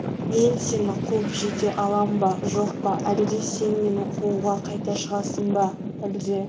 мен сені қуып жете алам ба жоқ па әлде сен мені қууға қайта шығасың ба әлде